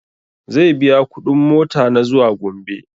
Zai biya kuɗin mota na zuwa gombe